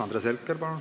Andres Herkel, palun!